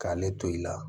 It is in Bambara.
K'ale to i la